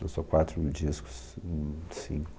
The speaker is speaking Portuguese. Lançou quatro discos, hm, cinco.